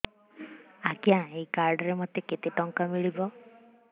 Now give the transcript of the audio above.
ଆଜ୍ଞା ଏଇ କାର୍ଡ ରେ ମୋତେ କେତେ ଟଙ୍କା ମିଳିବ